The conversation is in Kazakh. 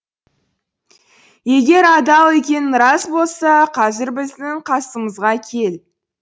егер адал екенің рас болса қазір біздің қасымызға кел